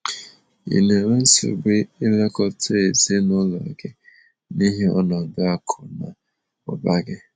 Ị na enwe nsogbu ilekọta ezinụlọ gị n’ihi ọnọdụ akụ na ụba gị?